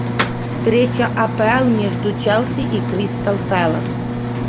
встреча апл между челси и кристал пэлас